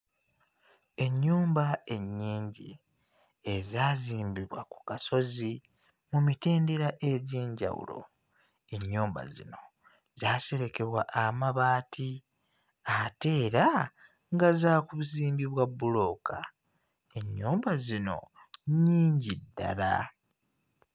Ennyumba ennyingi ezaazimbibwa ku kasozi mu mitendera egy'enjawulo, ennyumba zino zaaserekebwa amabaati ate era nga zaakuzimbibwa bbulooka, ennyumba zino nnyingi ddala.